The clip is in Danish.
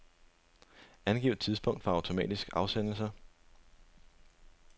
Angiv tidspunkt for automatisk afsendelse.